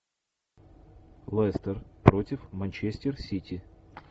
лестер против манчестер сити